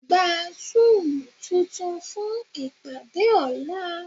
Gba Zúùmù tuntun fún ìpàdé ọ̀la.